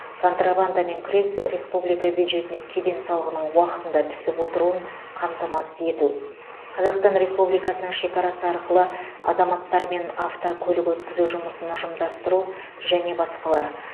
контрабандамен күрес республика бюджетіне кеден салығының уақытында түсіп отыруын қамтамасыз ету қазақстан республикасының шекарасы арқылы азаматтар мен автокөлік өткізу жұмысын ұйымдастыру және басқалар